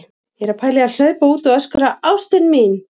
Ég er að pæla í að hlaupa út og öskra: ÁSTIN MÍN!